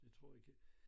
Det tror ikke